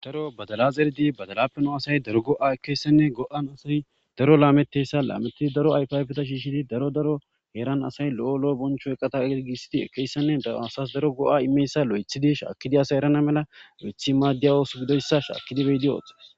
daro badalazerdi badalapeno asay daro go7a ekeyssenne go7an asoy daro laameteyssa laamettidi daro ayfiayfeta shiishidi daro daro eeran asay lo7o lo7o boncho eqata eigisidi ekeyssenne dr asas daro go7a imeyssa lo7ethidi shaakidi asay erana mela lo7ethi maaddiya oosu gidoyssa shaakidibeydi oot